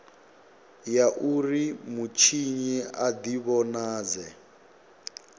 ya uri mutshinyi a divhonadze